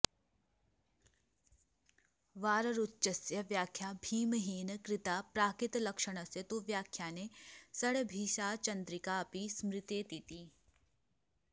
वाररुचस्य व्याख्या भीमहेन कृता प्राकृतलक्षणस्य तु व्याख्याने षड्भीषाचन्द्रिकाऽपि स्मृतेति